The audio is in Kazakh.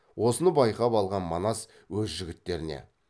осыны байқап алған манас өз жігіттеріне